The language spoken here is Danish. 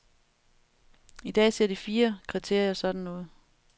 I dag ser de fire kriterier sådan ud.